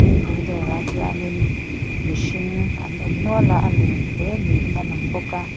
thingpui dawr ah hianin mihring an awm nual a a lun hle niin a lang bawk a.